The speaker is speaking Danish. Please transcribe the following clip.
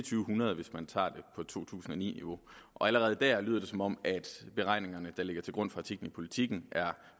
hundrede hvis man tager det på to tusind og ni niveau og allerede der lyder det som om beregningerne der ligger til grund for artiklen i politiken er